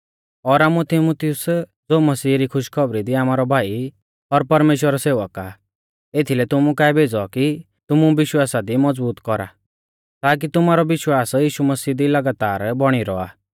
और आमुऐ तीमुथियुस ज़ो मसीहा री खुशखौबरी दी आमारौ भाई और परमेश्‍वरा रौ सेवक आ एथीलै तुमु काऐ भेज़ौ कि तुमु विश्वासा दी मज़बूत कौरा ताकी तुमारौ विश्वास यीशु मसीह दी लगातार बौणी रौआ